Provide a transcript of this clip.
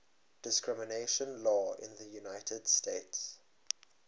discrimination law in the united states